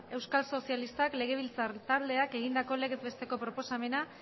euskal sozialistak legebiltzar taldeak egindako legez besteko proposamena